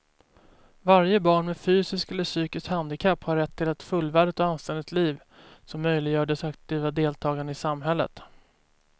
Varje barn med fysiskt eller psykiskt handikapp har rätt till ett fullvärdigt och anständigt liv som möjliggör dess aktiva deltagande i samhället.